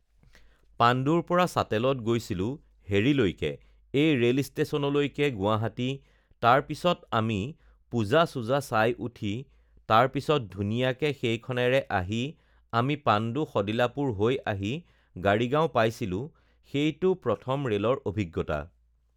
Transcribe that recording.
পাণ্ডুৰ পৰা চাতেলত গৈছিলোঁ হেৰিলৈকে এই ৰে'ল ষ্টেচনলৈকে গুৱাহাটী তাৰ পিছত আমি পূজা-চূজা চাই উঠি তাৰ পিছত ধুনীয়াকে সেইখনেৰে আহি আমি পাণ্ডু শদিলাপুৰ হৈ আহি গাড়ীগাঁও পাইছিলোঁ, সেইটো প্ৰথম ৰে'লৰ অভিজ্ঞতা